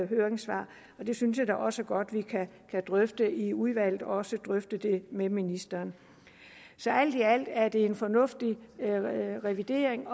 høringssvar det synes jeg da også godt at vi kan drøfte i udvalget og også drøfte det med ministeren så alt i alt er det en fornuftig revidering